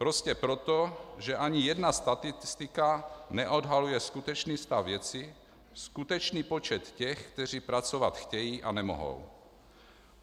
Prostě proto, že ani jedna statistika neodhaluje skutečný stav věci, skutečný počet těch, kteří pracovat chtějí a nemohou.